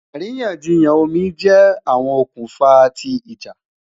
Àríyànjiyàn omi jẹ awọn okunfa ti ija